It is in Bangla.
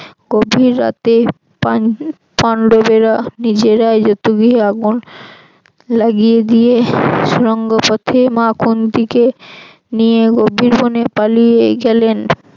গভীর রাতে পান~ পান্ডবেরা নিজেরাই জতুগৃহে আগুন লাগিয়ে দিয়ে সুড়ঙ্গ পথে মা কুন্তিকে নিয়ে গভীর বনে পালিয়ে গেলেন